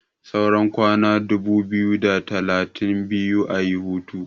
saura kwana dubu biyu da talatin biyu a yi hutu